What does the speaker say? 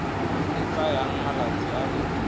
e tsayang malatsi a le